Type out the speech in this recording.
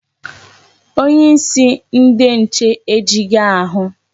Onyeisi ndi nche ejighị ahụ.